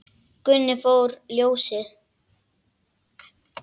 Gunni fór fyrir ljósið.